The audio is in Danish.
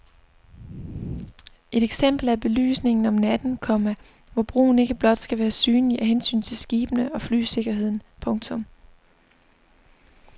Et eksempel er belysningen om natten, komma hvor broen ikke blot skal være synlig af hensyn til skibene og flysikkerheden. punktum